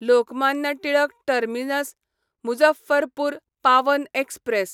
Lokmanya Tilak terminus Muzaffarpur Pawan express